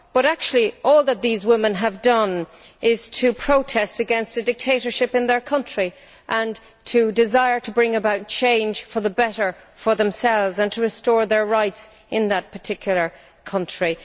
But actually, all that these women have done is to protest against a dictatorship in their country and to desire to bring about change for the better for themselves and to restore their rights in that particular country.